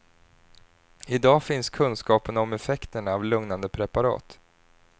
I dag finns kunskapen om effekterna av lugnande preparat.